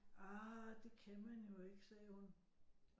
Ah det kan man jo ikke sagde hun